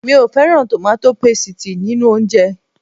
Mi ò fẹ́ràn tòmátò pasìtì nínú oúnjẹ